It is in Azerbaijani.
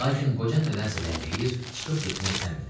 Lakin qoca nədənsə ləngiyir, çıxıb getmək istəmirdi.